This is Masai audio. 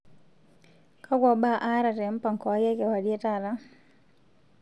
kakwa mbaa aata te mpango aai e kewarie taata